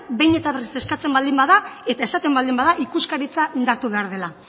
behin eta berriz eskatzen baldin bada eta esaten baldin bada ikuskaritza indartu behar dela